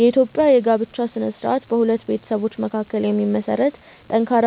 የኢትዮጵያ የጋብቻ ሥነ ሥርዓት በሁለት ቤተሰቦች መካከል የሚመሰረት ጠንካራ